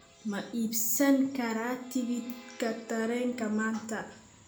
ma iibsan karaa tigidhka tareenka maanta